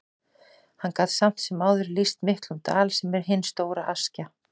Hann gat samt sem áður lýst miklum dal, sem er hin stóra Askja.